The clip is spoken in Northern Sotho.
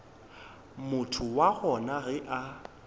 motho wa gona ge a